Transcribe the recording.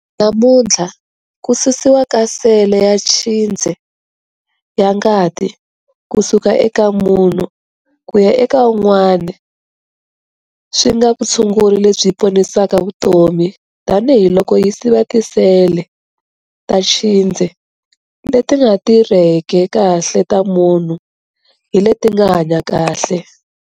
Namuntlha, Ku susiwa ka sele ya tshindze ya ngati ku suka eka munhu ku ya eka un'wana swi nga va vutshunguri lebyi ponisaka vutomi tanihiloko yi siva tisele ta tshindze leti nga ti rheki kahle ta munhu hi leti nga hanya kahle.